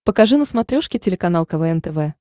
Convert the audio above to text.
покажи на смотрешке телеканал квн тв